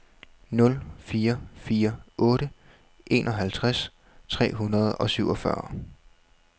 nul fire fire otte enoghalvtreds tre hundrede og syvogfyrre